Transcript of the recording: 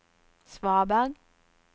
svaberg